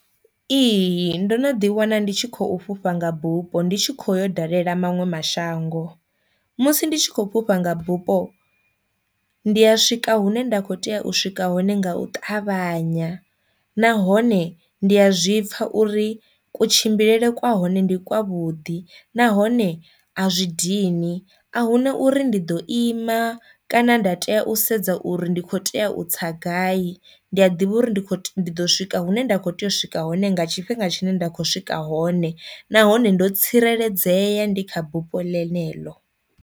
Ihi ndo no ḓi wana ndi tshi khou fhufha nga bufho ndi tshi kho yo dalela maṅwe mashango, musi ndi tshi khou fhufha nga bufho ndi a swika hune nda kho tea u swika hone nga u ṱavhanya nahone ndi a zwi pfha uri kutshimbilele kwa hone ndi kwavhuḓi, nahone a zwi dini a hu na uri ndi ḓo ima kana nda tea u sedza u uri ndi kho tea u tsa gai. Ndi a ḓivha uri ndi kho, ḓo swika hune nda kho tea u swika hone nga tshifhinga tshine nda kho swika hone nahone ndo tsireledzea ndi kha bufho ḽeneḽo.